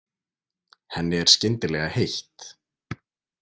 Henni er skyndilega heitt.